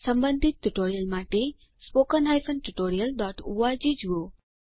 સંબંધિત ટ્યુટોરીયલ માટે spoken tutorialઓર્ગ જુઓ